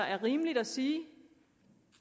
er rimeligt at sige